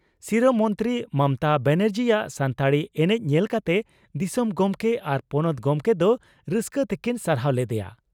ᱥᱤᱨᱟᱹ ᱢᱚᱱᱛᱨᱤ ᱢᱚᱢᱚᱛᱟ ᱵᱟᱱᱟᱨᱡᱤᱭᱟᱜ ᱥᱟᱱᱛᱟᱲᱤ ᱮᱱᱮᱡ ᱧᱮᱞ ᱠᱟᱛᱮ ᱫᱤᱥᱚᱢ ᱜᱚᱢᱠᱮ ᱟᱨ ᱯᱚᱱᱚᱛ ᱜᱚᱢᱠᱮ ᱫᱚ ᱨᱟᱹᱥᱠᱟᱹ ᱛᱮᱠᱤᱱ ᱥᱟᱨᱦᱟᱣ ᱞᱮᱫᱮᱭᱟ ᱾